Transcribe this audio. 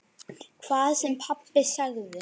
Hvað sem pabbi sagði.